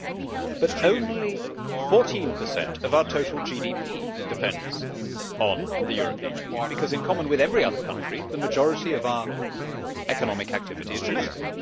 However, only 14 of our total GDP depends on the European Union because, in common with every other country, the majority of our economic activity is domestic.